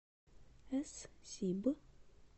эс сиб